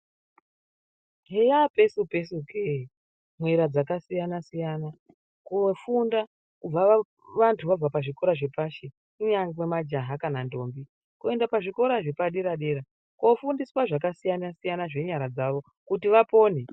Heya pesu-pesu kee mwera dzakasiyana-siyana, kofunda kubva vantu vabva pazvikora zvepashi kunyangwe majaha kana ndombi kuenda pazvikora zvepadera-dera. Kofundiswa zvakasiyana-siyana zvenyara dzavo kuti vapone.